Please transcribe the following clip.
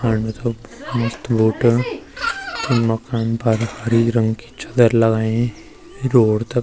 फांड मथलब मस्त बूट ते मकान फर हरी रंग की चद्दर लगायीं रोड तख।